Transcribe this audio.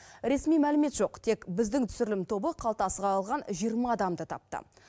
ресми мәлімет жоқ тек біздің түсірілім тобы қалтасы қағылған жиырма адамды тапты